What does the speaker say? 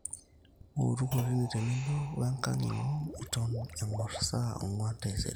ootu kotini tenebo we nkang ino eton engor saa onguan taisere